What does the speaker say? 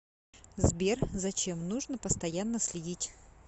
сбер за чем нужно постоянно следить